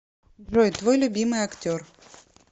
джой твой любимый актер